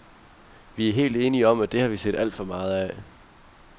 Vi er helt enige om, at det har vi set alt for meget af.